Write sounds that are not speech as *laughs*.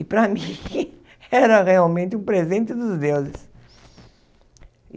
E para mim, *laughs* era realmente um presente dos deuses.